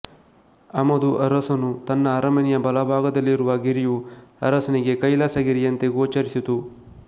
ಅಮದು ಅರಸನು ತನ್ನ ಅರಮನೆಯ ಬಲಭಾಗದಲ್ಲಿರುವ ಗಿರಿಯು ಅರಸನಿಗೆ ಕೈಲಾಸ ಗಿರಿಯಂತೆ ಗೋಚರಿಸಿತು